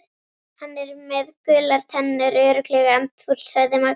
Hann er með gular tennur, örugglega andfúll sagði Magga.